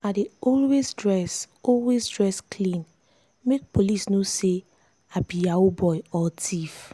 i dey always dress always dress clean make police no say i be yahoo boy or thief.